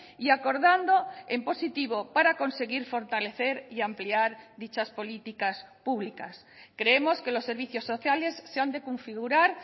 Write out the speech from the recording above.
y acordando en positivo para conseguir fortalecer y ampliar dichas políticas públicas creemos que los servicios sociales se han de configurar